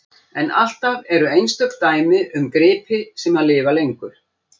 En alltaf eru einstök dæmi um gripi sem lifa lengur.